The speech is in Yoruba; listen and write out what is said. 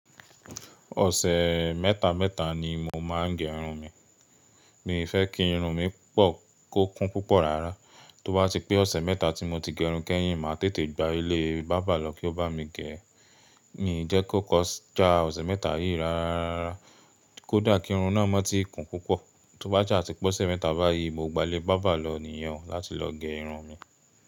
Ọ̀sẹ̀ mẹ́ta mẹ́ta ni mo máa ń gẹ irun mi. Mi fẹ́ kí irun mi pọ́, kó kún púpọ̀ rárá. Tó bá ti pé ọ̀sẹ̀ mẹ́ta tí mo ti gẹrun kẹ́yìn, màá tètè gba ilé bábà lọ kí ó bá mi gẹ̀. Mi jẹ́ kó kọjá ọ̀sẹ̀ mẹ́ta yìí rárá, kó dà kí irun náà mọ ti kún púpọ̀. Tó bá ṣa ti pé ọ̀sẹ̀ mẹ́ta báyìí, mo gbà lé bábà lọ nìyẹn láti lọ gẹ irun mi.